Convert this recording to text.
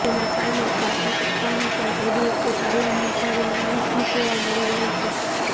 જેના કારણે chartered accountants અને એડ્વોકેટ આલમમાં ભારે નારાજગી જોવા મળી રહી છે